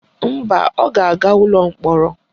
Mba, ọ ga-aga ụlọ mkpọrọ